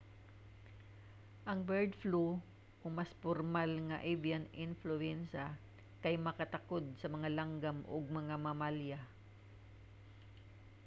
ang bird flu o mas pormal nga avian influenza kay makatakod sa mga langgam ug mga mamalya